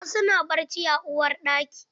Wasu na bacci a uwarɗaki.